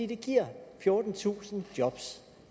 det giver fjortentusind jobs